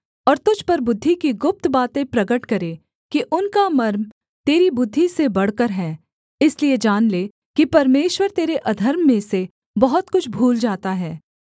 और तुझ पर बुद्धि की गुप्त बातें प्रगट करे कि उनका मर्म तेरी बुद्धि से बढ़कर है इसलिए जान ले कि परमेश्वर तेरे अधर्म में से बहुत कुछ भूल जाता है